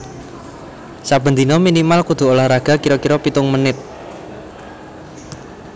Saben dino minimal kudu olahraga kiro kiro pitung menit